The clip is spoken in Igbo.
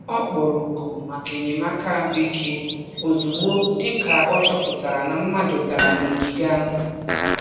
Ọ kpọrọ oku maka enyemaka ahụike ozugbo dị ka ọ chọpụtara na mmadụ dara n'ogige ahụ.